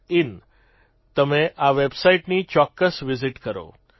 in તમે આ વેબસાઇટની ચોક્કસ વિઝિટ કરો